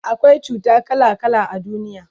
akwai cuta kala kala a duniya